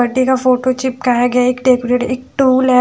Birthday का photo चिपकाए गए एक डेकोरेट एक टूल है।